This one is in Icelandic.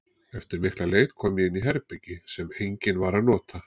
Eftir mikla leit kom ég inn í herbergi sem enginn var að nota.